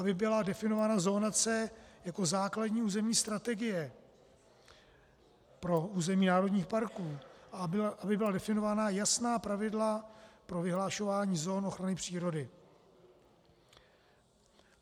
Aby byla definována zóna C jako základní územní strategie pro území národních parků, aby byla definována jasná pravidla pro vyhlašování zón ochrany přírody.